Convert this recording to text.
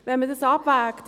Wenn man das abwägt –